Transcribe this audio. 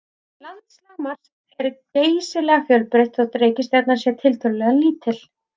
Landslag Mars er geysilega fjölbreytt þótt reikistjarnan sé tiltölulega lítil.